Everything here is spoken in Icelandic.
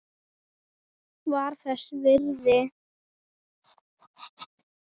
Var þess virði!